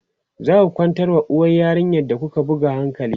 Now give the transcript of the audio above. zaku kwantar wa uwar yarinyar da kuka buga hankali?